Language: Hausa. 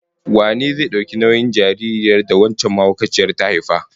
Wane zai dauki nauyin jaririn da wancan mahaukaciyar ta haifa?